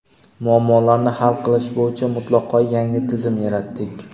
muammolarini hal qilish bo‘yicha mutlaqo yangi tizim yaratdik.